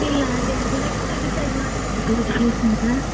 ಇಲ್ಲ ಅದೇ ಅದು next decide ಮಾಡ್ತಾರೆ ಯಾವ್ದು place ಅಂತ.